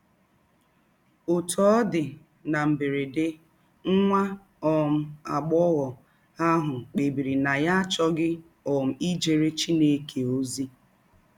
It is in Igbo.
Òtú ọ̀ dì, nà m̀bèrèdè, nwá um àgbóghọ̀ àhù kpébìrì nà yá àchọ̀ghí um ìjéré Chineke ózí.